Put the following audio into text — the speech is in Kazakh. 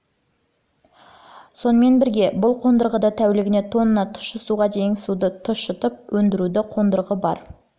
сонымен бірге бұл қондырғыда тәулігіне тонна тұщы суға дейінгі суды тұщытып өндіруші қондырғы да бар